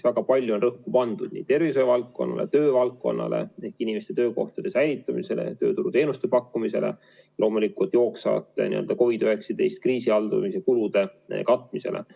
Väga palju on rõhku pandud tervishoiu valdkonnale, töövaldkonnale, inimeste töökohtade säilitamisele ja tööturuteenuste pakkumisele, loomulikult ka jooksvate COVID-19 kriisi haldamise kulude katmisele.